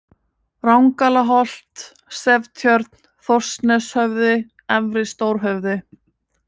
Rangalaholt, Seftjörn, Þórsneshöfði, Efri-Stórhöfði